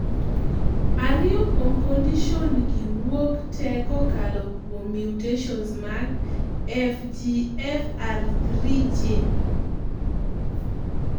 ariyo kuom condition gi wuok tee kokalo kuom mutations mag FGFR3 gene